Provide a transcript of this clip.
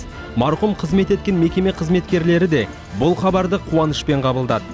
марқұм қызмет еткен мекеме қызметкерлері де бұл хабарды қуанышпен қабылдады